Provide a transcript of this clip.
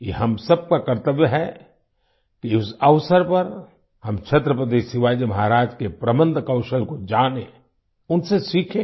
यह हम सबका कर्तव्य है कि इस अवसर पर हम छत्रपति शिवाजी महाराज के प्रबंध कौशल को जानें उनसे सीखें